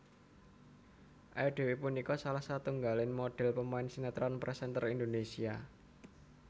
Ayu Dewi punika salah setunggaling modhèl pemain sinetron presenter Indonésia